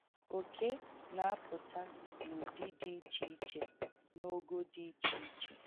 Oke na-apụta n’ụdị dị iche iche na ogo dị iche iche.